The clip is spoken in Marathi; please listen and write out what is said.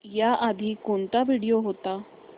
याआधी कोणता व्हिडिओ होता